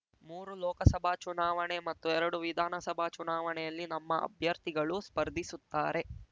ಮೂರು ಲೋಕಸಭಾ ಚುನಾವಣೆ ಮತ್ತು ಎರಡು ವಿಧಾನಸಭಾ ಚುನಾವಣೆಯಲ್ಲಿ ನಮ್ಮ ಅಭ್ಯರ್ಥಿಗಳು ಸ್ಪರ್ಧಿಸುತ್ತಾರೆ